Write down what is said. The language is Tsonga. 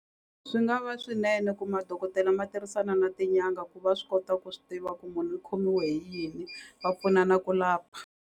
Swi nga va swinene ku madokodela ma tirhisana na tinyanga ku va swi kota ku swi tiva ku munhu i khomiwe hi yini va pfunana ku lapha.